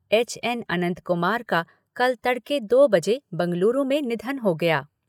H N Anant Kumar का कल तड़के दो बजे बेंगलुरु में निधन हो गया।